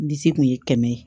N disi kun ye kɛmɛ ye